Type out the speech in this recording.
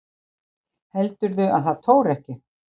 Heldurðu að það tóri ekki?